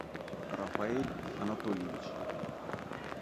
рафаэль анатольевич